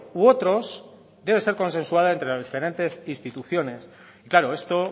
u otros debe ser consensuado entre las diferentes instituciones y claro esto